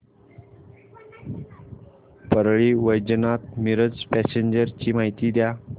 Parli Vaijnath Miraj passenger ची माहिती द्या